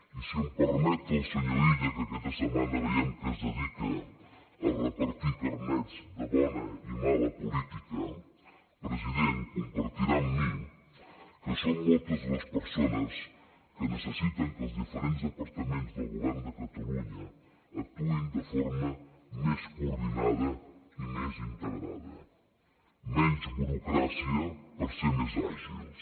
i si m’ho permet el senyor illa que aquesta setmana veiem que es dedica a repartir carnets de bona i mala política president compartirà amb mi que són moltes les persones que necessiten que els diferents departaments del govern de catalunya actuïn de forma més coordinada i més integrada menys burocràcia per ser més àgils